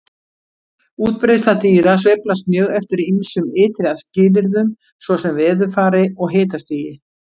Útbreiðsla dýra sveiflast mjög eftir ýmsum ytri skilyrðum svo sem veðurfari og hitastigi.